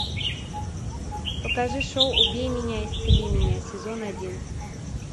покажи шоу убей меня исцели меня сезон один